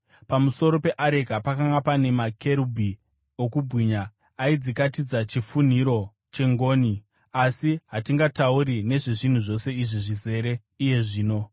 Pamusoro peareka pakanga paina makerubhi okubwinya, aidzikatidza chifunhiro chengoni. Asi hatingatauri nezvezvinhu zvose izvi zvizere iye zvino.